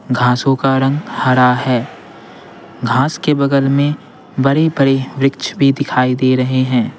घासों का रंग हरा है घास के बगल में बड़े-बड़े वृक्ष भी दिखाई दे रहे हैं।